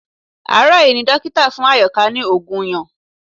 Àárò yí ni dókítà fún Àyòká ní òògùn yẹn